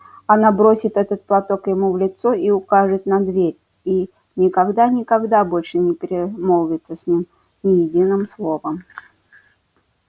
она бросит этот платок ему в лицо и укажет на дверь и никогда никогда больше не перемолвится с ним ни единым словом